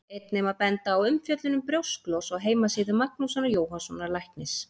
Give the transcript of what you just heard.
Einnig má benda á umfjöllun um brjósklos á heimasíðu Magnúsar Jóhannssonar læknis.